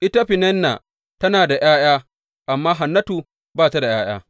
Ita Feninna tana da ’ya’ya, amma Hannatu ba ta da ’ya’ya.